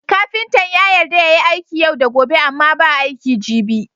Kafintan ya yarda yayi aiki yau da gobe Amma ba aiki gibi